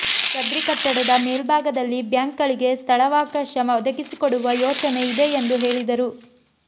ಸದ್ರಿ ಕಟ್ಟಡದ ಮೇಲ್ಬಾಗದಲ್ಲಿ ಬ್ಯಾಂಕ್ಗಳಿಗೆ ಸ್ಥಳವಾಕಾಶ ಒದಗಿಸಿಕೊಡುವ ಯೋಚನೆ ಇದೆ ಎಂದು ಹೇಳಿದರು